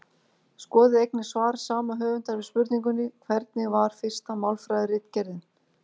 Skoðið einnig svar sama höfundar við spurningunni Hvernig var fyrsta málfræðiritgerðin?